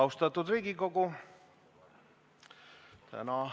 Austatud Riigikogu!